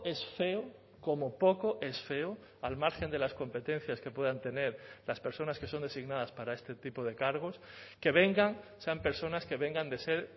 es feo como poco es feo al margen de las competencias que puedan tener las personas que son designadas para este tipo de cargos que vengan sean personas que vengan de ser